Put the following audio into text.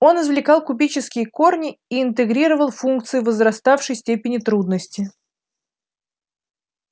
он извлекал кубические корни и интегрировал функции возраставшей степени трудности